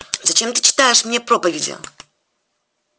зачем ты читаешь мне проповеди